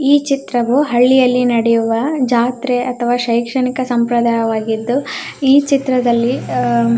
ಈ ಚಿತ್ರವು ಹಳ್ಳಿಯಲ್ಲಿ ನಡೆಯುವ ಜಾತ್ರೆ ಅಥವಾ ಶೈಕ್ಷಣಿಕ ಸಂಪ್ರದಾಯವಾಗಿದ್ದು